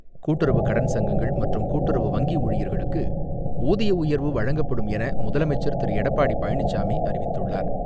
கூட்டுறவு கடன் சங்கங்கள் மற்றும் கூட்டுறவு வங்கி ஊழியர்களுக்கு ஊதிய உயர்வு வழங்கப்படும் என முதலமைச்சர் திரு எடப்பாடி பழனிச்சாமி அறிவித்துள்ளார்.